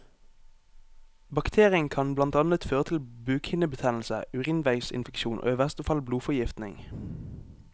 Bakterien kan blant annet føre til bukhinnebetennelse, urinveisinfeksjon og i verste fall blodforgiftning.